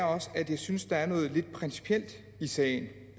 også at jeg synes der er noget lidt principielt i sagen